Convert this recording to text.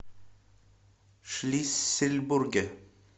шлиссельбурге